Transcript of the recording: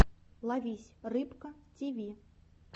ловись рыбка тиви